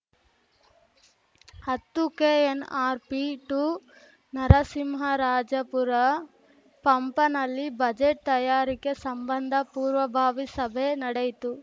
ಹತ್ತುಕೆಎನ್‌ಆರ್‌ಪಿಟು ನರಸಿಂಹರಾಜಪುರ ಪಪಂನಲ್ಲಿ ಬಜೆಟ್‌ ತಯಾರಿಕೆ ಸಂಬಂಧ ಪೂರ್ವಭಾವಿ ಸಭೆ ನಡೆಯಿತು